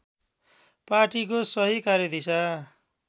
पार्टीको सही कार्यदिशा